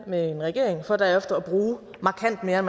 med en regering for derefter at bruge markant mere